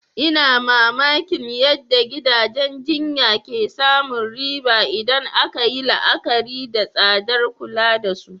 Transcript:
Ina mamakin yadda gidajen jinya ke samun riba idan aka yi la'akari da tsadar kula da su.